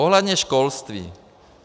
Ohledně školství.